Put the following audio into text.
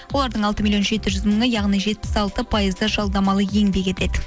олардың алты миллион жеті жүз мыңы яғни жетпіс алты пайызы жалдамалы еңбек етеді